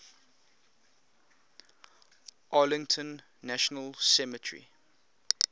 arlington national cemetery